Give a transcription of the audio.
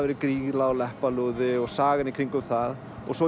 Grýla og Leppalúði og sagan í kringum það og svo